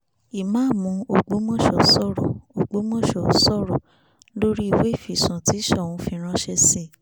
ìmáàmù ọgbọ́mọso sọ̀rọ̀ ọgbọ́mọso sọ̀rọ̀ lórí ìwé ìfisùn tí soun fi ránṣẹ́ sí i